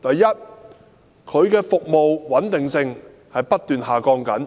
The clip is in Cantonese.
第一，港鐵服務的穩定性不斷下降，